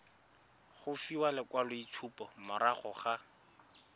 go fiwa lekwaloitshupo morago ga